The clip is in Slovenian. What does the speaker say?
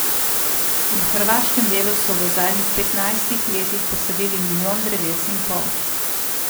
V hrvaškem delu so v zadnjih petnajstih letih posadili milijon dreves in pol.